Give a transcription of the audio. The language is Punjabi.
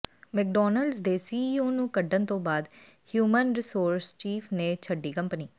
ਮੈਕਡਾਨਲਡਸ ਦੇ ਸੀਈਓ ਨੂੰ ਕੱਢਣ ਤੋਂ ਬਾਅਦ ਹਿਊਮਨ ਰਿਸੋਰਸ ਚੀਫ਼ ਨੇ ਛੱਡੀ ਕੰਪਨੀ